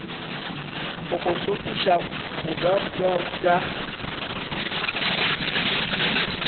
go go hlokiša mojabohwa bja